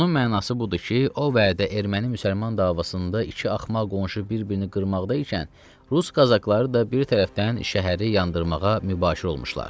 Bunun mənası budur ki, o vədə erməni-müsəlman davasında iki axmaq qonşu bir-birini qırmaqda ikən Rus qazaxları da bir tərəfdən şəhəri yandırmağa mübaşir olmuşlar.